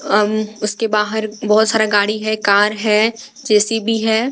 अम उसके बाहर बहोत सारा गाड़ी है कार है जे_सी_बी है।